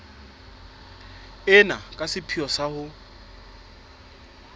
ena ka sepheo sa ho